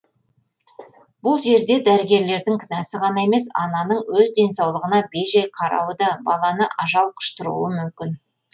бұл жерде дәрігерлердің кінәсі ғана емес ананың өз денсаулығына бей жай қарауы да баланы ажал құштыруы мүмкін